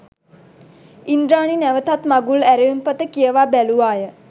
ඉන්ද්‍රාණි නැවතත් මගුල් ඇරයුම් පත කියවා බැලූවාය